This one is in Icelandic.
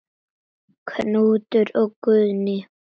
Knútur og Guðný.